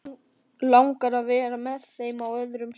Langar að vera með þeim á öðrum stað.